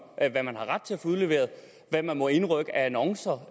hvad man har ret til at få udleveret og hvad man må indrykke af annoncer